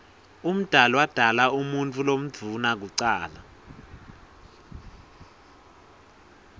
umdali wodala umuutfu lomdouna kucala